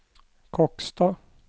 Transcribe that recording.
Kokstad